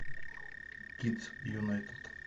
кидс юнайтед